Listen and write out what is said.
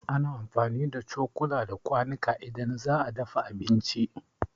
Ana amfani da cokula da kwanuka idan za a dafa abinci.